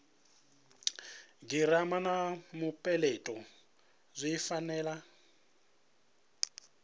girama na mupeleto zwi fanela